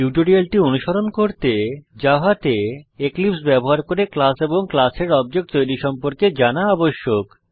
টিউটোরিয়ালটি অনুসরণ করতে জাভাতে এক্লীপ্স ব্যবহার করে ক্লাস এবং ক্লাসের অবজেক্ট তৈরী সম্পর্কে জানা আবশ্যক